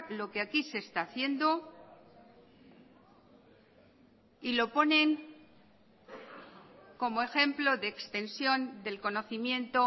lo que aquí se está haciendo y lo ponen como ejemplo de extensión del conocimiento